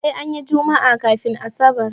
Sai anyi jummaa kafun asabar